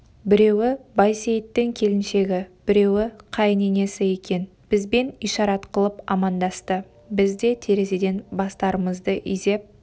біреуі байсейіттің келіншегі біреуі қайын енесі екен бізбен ишарат қылып амандасты біз де терезеден бастарымызды изеп